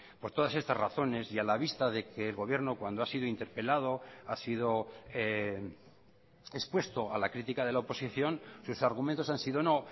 por todas estas razones y a la vista de que el gobierno cuando ha sido interpelado ha sido expuesto a la crítica de la oposición sus argumentos han sido no